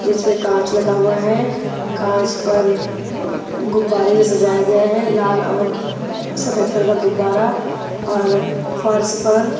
जिसमें कांच लगा हुआ है कांच पर गुब्बारे से सजाया गया है लाल और सफेद रंग का गुब्बारा और फर्श पर--